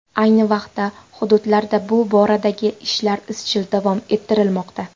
Ayni vaqtda hududlarda bu boradagi ishlar izchil davom ettirilmoqda.